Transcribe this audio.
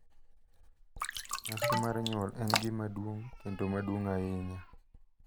Nyasi mar nyuol en gima duong' kendo maduong' ahinya.